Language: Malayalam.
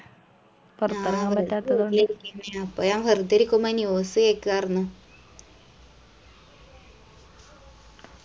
ആ വെറുതെ ഇരിക്കെന്നെയാ പ്പോ ഞാൻ വെർതെ ഇരിക്കുമ്പോ news കേക്കു ആർന്നു